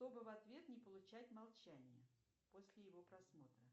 чтобы в ответ не получать молчание после его просмотра